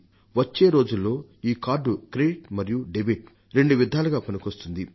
వచ్చేరోజుల్లో ఈ card credit మరియు debit రెండు విధాలుగా పనికొస్తుంది